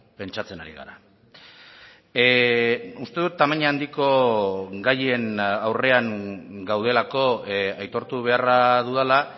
pentsatzen ari gara uste dut tamaina handiko gaien aurrean gaudelako aitortu beharra dudala